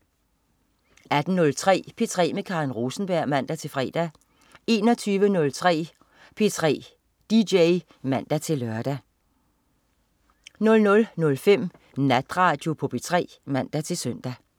18.03 P3 med Karen Rosenberg (man-fre) 21.03 P3 DJ (man-lør) 00.05 Natradio på P3 (man-søn)